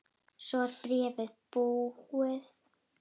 Svo er bréfið búið